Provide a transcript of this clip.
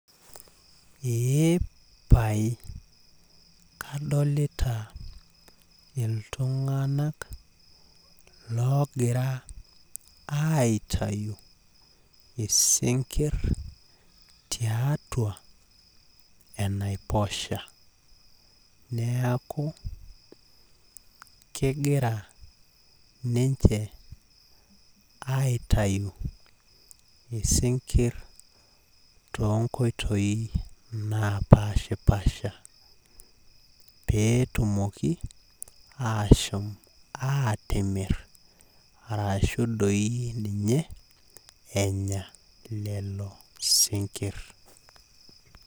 Epae kadolita iltunganak logira aitayu isinkir tiatua enaiposha, neaku kegira ninche aitayu isinkir toonkoitoi napashpasha peetumoki epuo atimir arashu doi enya lelo sinkir